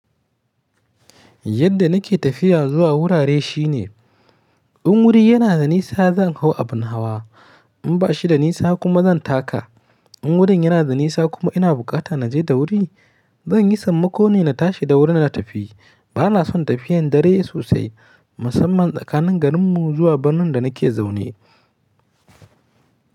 Yadda nake tafiya zuwa wurare shine in wuri yana da nisa zan hau abin hawa, in bashi da nisa kuma zan taka. In wurin yana da nisa kuma ina bukata na je da wuri zan yi sammako ne na tashi da wuri na tafi. Bana son tafiyan dare sosai musamman tsakanin garin mu zuwa birnin da nake zaune.